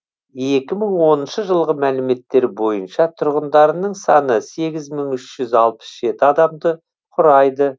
екі мың он үшінші жылғы мәліметтер бойынша тұрғындарының саны сегіз мың үш жүз алпыс жеті адамды құрайды